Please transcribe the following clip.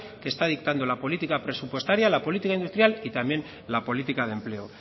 que está dictando la política presupuestaria la política industrial y también la política de empleo